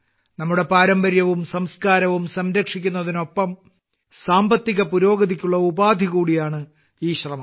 നമ്മുടെ പാരമ്പര്യവും സംസ്കാരവും സംരക്ഷിക്കുന്നതിനൊപ്പം സാമ്പത്തിക പുരോഗതിക്കുള്ള ഉപാധി കൂടിയാണ് ഈ ശ്രമം